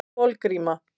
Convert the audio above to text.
Kolgríma